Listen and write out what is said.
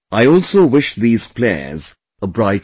I also wish these players a bright future